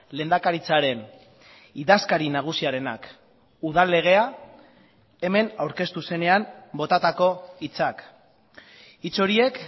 lehendakaritzaren idazkari nagusiarenak udal legea hemen aurkeztu zenean botatako hitzak hitz horiek